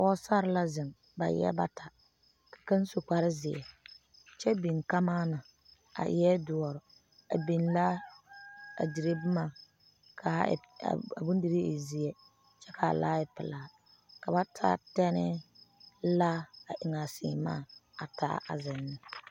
Pɔgesare la zeŋ ba eɛ noba bata kaŋa su kpare zeɛ kyɛ biŋ kamaana a eɛ doɔre a biŋ laa a dire boma kaa bondirii e zeɛ kyɛ kaa kaa pelaa ka ba taa tɛnne laa a eŋ a seemaa taa a zeŋ neŋ.